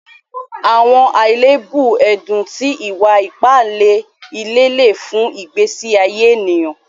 Àwọn aléèbù ẹ̀dùn tí ìwà-ìpà ìlẹ̀ lè fún ìgbésí àyé ẹnìyàn.